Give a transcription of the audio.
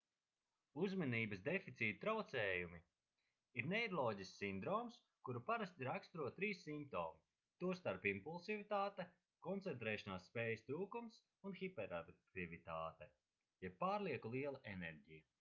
uzmanības deficīta traucējumi ir neiroloģisks sindroms kuru parasti raksturo trīs simptomi tostarp impulsivitāte koncentrēšanās spējas trūkums un hiperaktivitāte jeb pārlieku liela enerģija